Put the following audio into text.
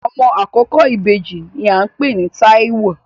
Ọmọ àkọ́kọ́ ìbejì ní à ń pè ní Táíwò